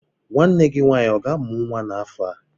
Nwanne gị nwaanyị ọ ga-amụ nwa n'afọ a?